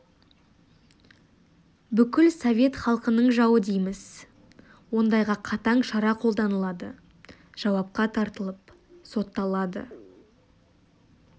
бүкіл совет халқының жауы дейміз ондайға қатаң шара қолданылады жауапқа тартылып сотталады